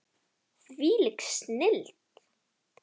Þvílík snilld.